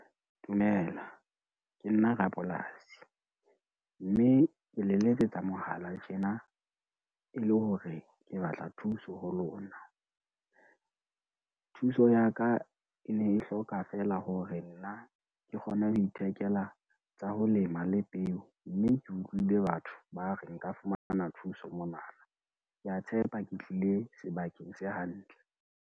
Dumela, ke nna rapolasi, mme ke le letsetsa mohala tjena e le hore ke batla thuso ho lona. Thuso ya ka e ne e hloka fela hore nna, ke kgone ho ithekela tsa ho lema le peo, mme ke utlwile batho ba re nka fumana thuso monana, ke a tshepa ke tlile sebakeng se hantle.